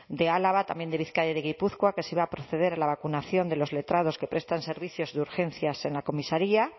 de álava también de bizkaia y de gipuzkoa que se iba a proceder a la vacunación de los letrados que prestan servicios de urgencias en la comisaría